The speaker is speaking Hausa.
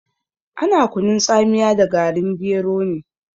Ana kunun tsamiya da garin gero ne.